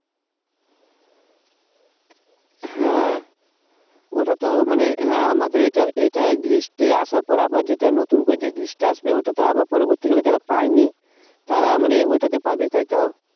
হ্যাঁ ওটা তো মানে হ্যাঁ আমাদের এটা এটা list আসার পর আবার যেটা নতুন করে List টা আসবে ওটা তো আবার পরবর্তী তাহলে যারা পায়নি তারা মানে ওইটাতে পাবে তাই তো?